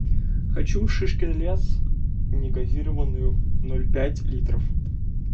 хочу шишкин лес негазированную ноль пять литров